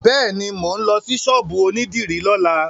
Bẹ́ẹ̀ni, mò ń lọ sí ṣọ́ọ̀bù onídìrí lọ́la.